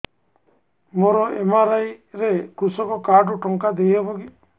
ମୋର ଏମ.ଆର.ଆଇ ରେ କୃଷକ କାର୍ଡ ରୁ ଟଙ୍କା ଦେଇ ହବ କି